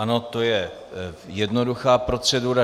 Ano, to je jednoduchá procedura.